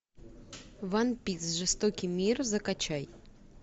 ван пис жестокий мир закачай